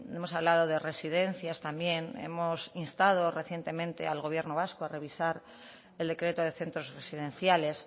hemos hablado de residencias también hemos instado recientemente al gobierno vasco a revisar el decreto de centros residenciales